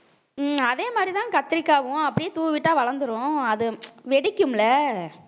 ஹம் அதே மாதிரிதான் கத்திரிக்காவும் அப்படியே தூவிட்டா வளர்ந்திரும் அது வெடிக்கும்ல